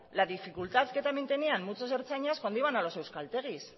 la dificultad que también tenían muchos ertzainas cuando iban a los euskaltegis